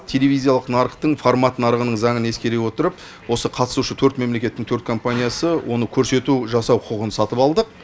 телевизиялық нарықтың формат нарығының заңын ескере отырып осы қатысушы төрт мемлекеттің төрт компаниясы оны көрсету жасау құқығын сатып алдық